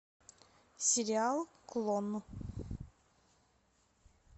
сериал клон